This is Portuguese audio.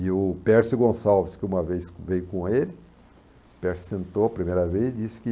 E o Pércio Gonçalves, que uma vez veio com ele, o Pércio sentou a primeira vez e disse que